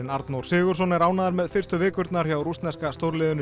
Arnór Sigurðsson er ánægður með fyrstu vikurnar hjá rússneska stórliðinu